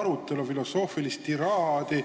arutelu, filosoofilist tiraadi.